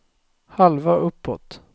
halva uppåt